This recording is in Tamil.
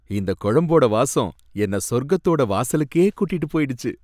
இந்தக் குழம்போட வாசம் என்ன சொர்கத்தோட வாசலுக்கே கூட்டிட்டு போயிடுச்சி.